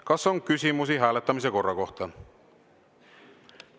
Kas on küsimusi hääletamise korra kohta?